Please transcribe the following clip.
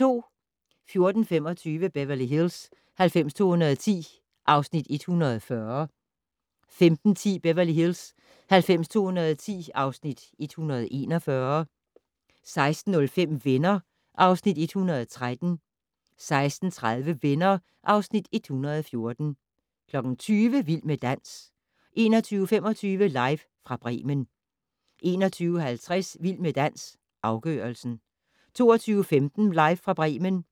14:25: Beverly Hills 90210 (Afs. 140) 15:10: Beverly Hills 90210 (Afs. 141) 16:05: Venner (Afs. 113) 16:30: Venner (Afs. 114) 20:00: Vild med dans 21:25: Live fra Bremen 21:50: Vild med dans - afgørelsen 22:15: Live fra Bremen